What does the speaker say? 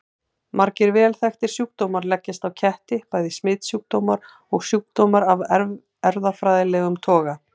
Margir vel þekktir sjúkdómar leggjast á ketti, bæði smitsjúkdómar og sjúkdómar af erfðafræðilegum toga.